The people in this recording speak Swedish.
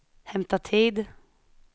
hämta tid